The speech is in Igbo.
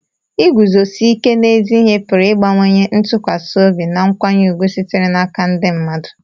iguzosi ike n'ezi ihe pụrụ ịbawanye ntụkwasị obi na nkwanye ùgwù sitere n'aka ndị mmadụ